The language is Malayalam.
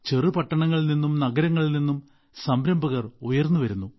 ചെറുപട്ടണങ്ങളിൽ നിന്നും നഗരങ്ങളിൽ നിന്നും സംരംഭകർ ഉയർന്നുവരുന്നു